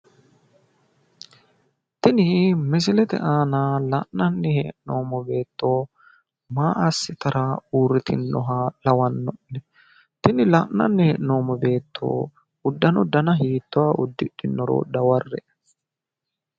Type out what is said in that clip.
Tini misilete aana la'annanni hee'noommo beetto maa assitara uurritinnoha lawa'nonne? tini la'ananni hee'noommo beetto uddano dana hiittooha uddidhinnoro daware'e.